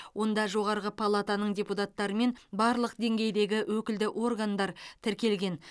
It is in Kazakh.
онда жоғарғы палатаның депутаттары мен барлық деңгейдегі өкілді органдар тіркелген